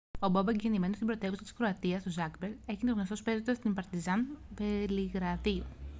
ο μπόμπεκ γεννημένος στην πρωτεύουσα της κροατίας το ζάγκρεπ έγινε γνωστός παίζοντας στην παρτιζάν βελιγραδίου